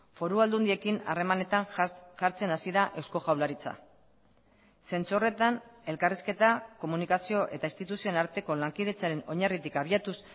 foru aldundiekin harremanetan jartzen hasi da eusko jaurlaritza zentzu horretan elkarrizketa komunikazio eta instituzioen arteko lankidetzaren oinarritik abiatuz